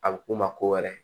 A bɛ k'o ma ko wɛrɛ